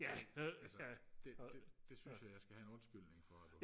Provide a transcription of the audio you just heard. altså det det det synes jeg at jeg skal have en undskyldning for